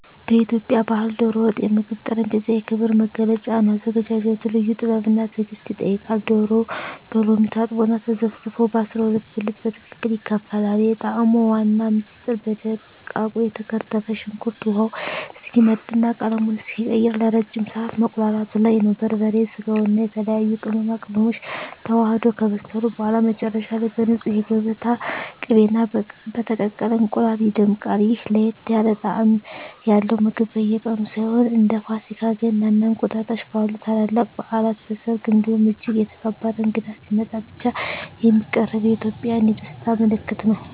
በኢትዮጵያ ባሕል "ዶሮ ወጥ" የምግብ ጠረጴዛ የክብር መገለጫ ነው። አዘገጃጀቱ ልዩ ጥበብና ትዕግስት ይጠይቃል፤ ዶሮው በሎሚ ታጥቦና ተዘፍዝፎ በ12 ብልት በትክክል ይከፋፈላል። የጣዕሙ ዋና ምስጢር በደቃቁ የተከተፈ ሽንኩርት ውሃው እስኪመጥና ቀለሙን እስኪቀይር ለረጅም ሰዓት መቁላላቱ ላይ ነው። በርበሬ፣ ስጋውና የተለያዩ ቅመማ ቅመሞች ተዋህደው ከበሰሉ በኋላ፣ መጨረሻ ላይ በንፁህ የገበታ ቅቤና በተቀቀለ እንቁላል ይደምቃል። ይህ ለየት ያለ ጣዕም ያለው ምግብ በየቀኑ ሳይሆን፣ እንደ ፋሲካ፣ ገና እና እንቁጣጣሽ ባሉ ታላላቅ በዓላት፣ በሰርግ እንዲሁም እጅግ የተከበረ እንግዳ ሲመጣ ብቻ የሚቀርብ የኢትዮጵያውያን የደስታ ምልክት ነው።